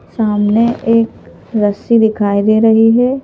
सामने एक रस्सी दिखाई दे रही है।